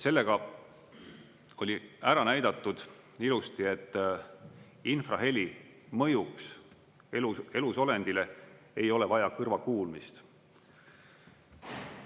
Sellega oli ära näidatud ilusti, et infraheli mõjuks elusolenditele ei ole vaja kõrvakuulmist.